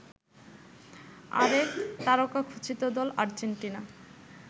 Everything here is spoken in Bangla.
আরেক তারকাখচিত দল আর্জেন্টিনা